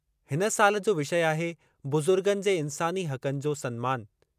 इन साल जो विषय आहे बुज़ुर्गनि जे इंसानी हक़नि जो सन्मान।